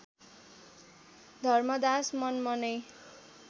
Dharmdas मनमनै